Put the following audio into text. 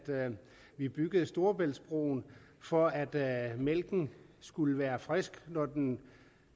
vi byggede storebæltsbroen for at mælken skulle være frisk når den